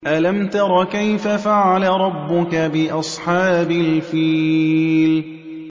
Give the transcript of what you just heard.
أَلَمْ تَرَ كَيْفَ فَعَلَ رَبُّكَ بِأَصْحَابِ الْفِيلِ